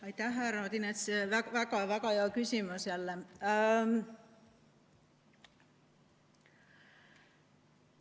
Aitäh, härra Odinets, väga hea küsimus jälle!